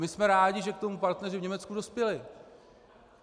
My jsme rádi, že k tomu partneři v Německu dospěli.